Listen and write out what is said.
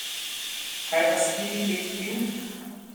Kaj pa spili pet piv?